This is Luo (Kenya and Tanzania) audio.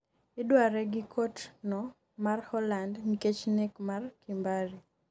idware gi kot no mar Holand nikech nek mar Kimbari